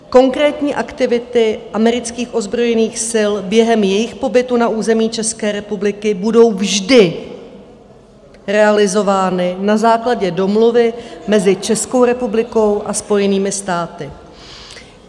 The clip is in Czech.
Konkrétní aktivity amerických ozbrojených sil během jejich pobytu na území České republiky budou vždy realizovány na základě domluvy mezi Českou republikou a Spojenými státy.